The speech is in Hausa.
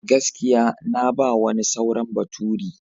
Gaskiya! Na ba wani sauran baturi.